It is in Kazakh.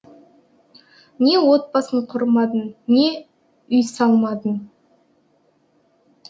не отбасын құрмадым не үйсалмадым